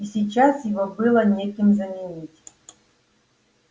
и сейчас его было некем заменить